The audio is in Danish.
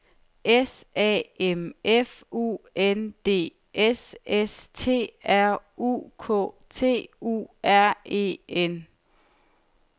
S A M F U N D S S T R U K T U R E N